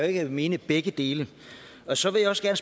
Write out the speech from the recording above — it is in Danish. ikke mene begge dele så vil jeg